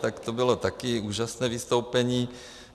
Tak to bylo také úžasné vystoupení.